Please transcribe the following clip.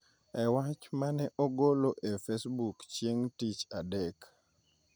E wach ma ne ogolo e Facebook chieng’ tich adek,